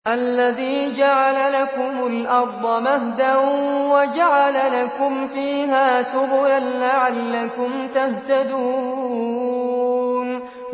الَّذِي جَعَلَ لَكُمُ الْأَرْضَ مَهْدًا وَجَعَلَ لَكُمْ فِيهَا سُبُلًا لَّعَلَّكُمْ تَهْتَدُونَ